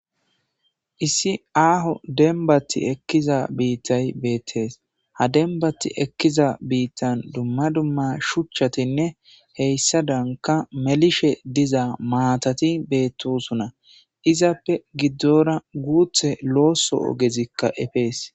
Issi aaho dembbati ekkiza biittay bettees ha dembbati ekkiza biittan dumma dumma shuchchatinne hessadanka melishe diza maatati beetosona izappe giddora guuththa looso ogezikka efees.